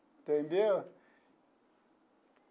Entendeu?